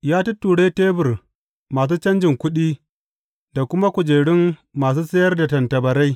Ya tutture tebur masu canjin kuɗi da kuma kujerun masu sayar da tattabarai.